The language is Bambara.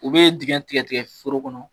U be digin tigɛ tigɛ foro kɔnɔ